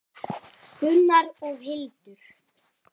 Gunnar og Hildur.